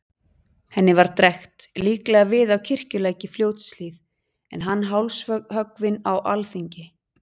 Henni var drekkt, líklega við á Kirkjulæk í Fljótshlíð, en hann hálshöggvinn á alþingi.